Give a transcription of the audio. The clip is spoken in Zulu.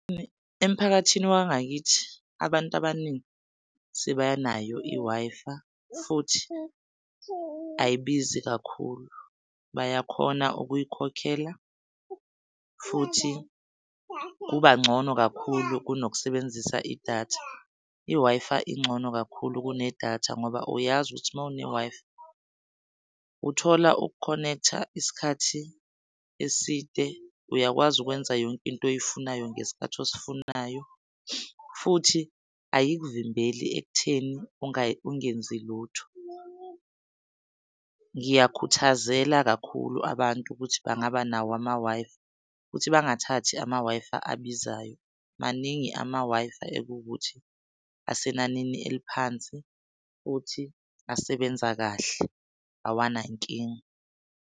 Emphakathini wangakithi abantu abaningi sebanayo i-Wi-Fi futhi ayibizi kakhulu bayakhona ukuyikhokhela futhi kuba ngcono kakhulu kunokusebenzisa idatha. I-Wi-Fi ingcono kakhulu kunedatha ngoba uyazi ukuthi mawune-Wi-Fi uthola uku-connect-a isikhathi eside, uyakwazi ukwenza yonke into oyifunayo ngesikhathi osifunayo futhi ayikuvimbeli ekutheni ungenzi lutho. Ngiyakhuthazela kakhulu abantu ukuthi bangaba nawo ama-Wi-Fi, ukuthi bangathathi ama-Wi-Fi abizayo, maningi ama-Wi-Fi ekuwukuthi asenanini eliphansi futhi asebenza kahle awanankinga.